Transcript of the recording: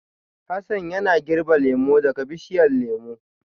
Hassan yana girbin lemu daga bishiyar lemu